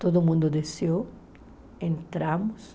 Todo mundo desceu, entramos.